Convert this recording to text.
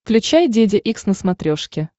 включай деде икс на смотрешке